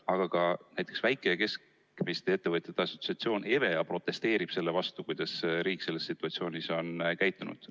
Aga ka näiteks Väike- ja Keskmiste Ettevõtjate Assotsiatsioon ehk EVEA protesteerib selle vastu, kuidas riik selles situatsioonis on käitunud.